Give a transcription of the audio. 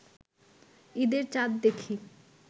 ঈদের চাঁদ দেখি